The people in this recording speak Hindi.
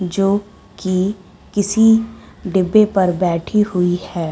जो कि की किसी डिब्बे पर बैठी हुई है।